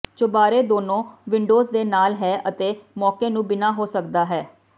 ਚੁਬਾਰੇ ਦੋਨੋ ਵਿੰਡੋਜ਼ ਦੇ ਨਾਲ ਹੈ ਅਤੇ ਮੌਕੇ ਨੂੰ ਬਿਨਾ ਹੋ ਸਕਦਾ ਹੈ